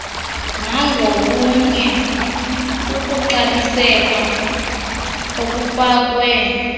nangobunye kukuxabiseka obufakwe